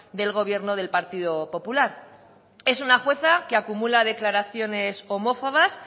del gobierno del partido popular es una jueza que acumula declaraciones homófobas